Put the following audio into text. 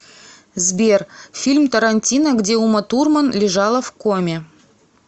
сбер фильм торантино где уматурман лежала в коме